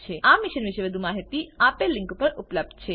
આ મિશન પરની વધુ માહિતી spoken tutorialorgnmeict ઇન્ટ્રો પર ઉપલબ્ધ છે